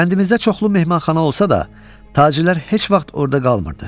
Kəndimizdə çoxlu mehmanxana olsa da, tacirlər heç vaxt orada qalmırdı.